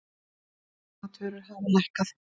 Matvörur hafa lækkað